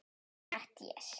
Þinn vinur Matti.